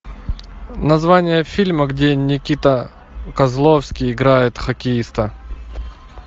название фильма где никита козловский играет хоккеиста